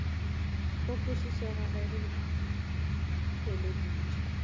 go kwešišega ge re theeleditše